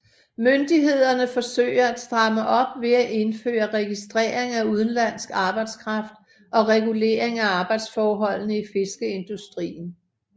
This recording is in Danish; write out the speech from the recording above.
Myndighederne forsøger at stramme op ved at indføre registrering af udenlandsk arbejdskraft og regulering af arbejdsforholdene i fiskeindustrien